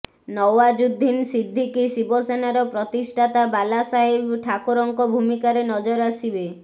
ନୱାଜୁଦ୍ଦିନ ସିଦ୍ଦିକୀ ଶିବସେନାର ପ୍ରତିଷ୍ଠାତା ବାଲା ସାହେବ ଠାକରେଙ୍କ ଭୂମିକାରେ ନଜର ଆସିବେ